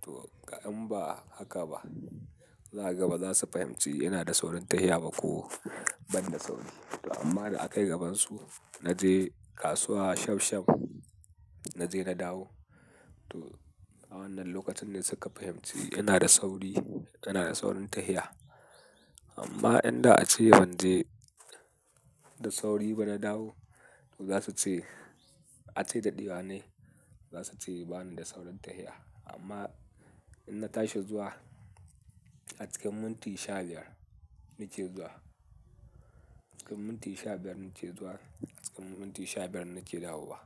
to in ba haka ba, za gaba za su fahimci ina da saurin ta'ayya ba ko ban da sauri. To amma da aka yi gabansu na je kasuwa shaf shaf, na je na dawo. To a wannan lokacin ne suka fahimci ina da sauri, ina da saurin ta'ayya. Amma inda a ce ban je da sauri ba na dawo, za su ce a ce daɗewa nai, za su ce ba ni da saurin ta'ayya. Amma in na tashi zuwa a cikin minti sha biyar nake zuwa, cikin minti sha biyar nake zuwa, cikin minti sha biyar nake dawo wa.